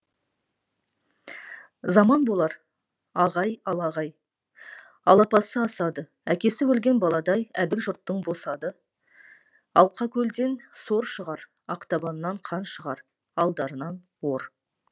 заман болар ағай алағай алапасы асады әкесі өлген баладай әділ жұрттың босады алқакөлден сор шығар ақтабаннан қан шығар алдарынан ор